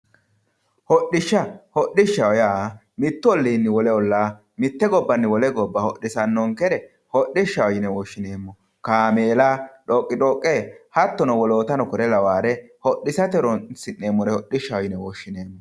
Hodhishsha, hodishshaho yaa mitu ollinni wole olla mite gobbanni wole gobba hodhisanonkere hodhishshaho yinne woshshineemmo lawishshaho kaameella, dhoqidhoqe hattonno wolootta lawinore hodhisate horonsi'neemmore hodhishshaho yinne woshshineemmo.